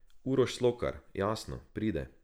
Uroš Slokar, jasno, pride.